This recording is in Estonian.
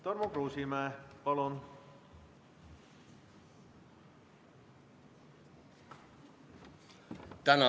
Tarmo Kruusimäe, palun!